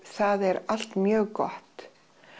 það er allt mjög gott